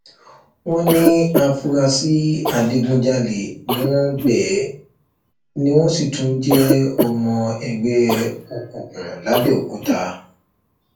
wọn ní àfúrásì adigunjalè ni wọn bẹẹ ni wọn sì tún jẹ ọmọ ẹgbẹ òkùnkùn làbẹọkúta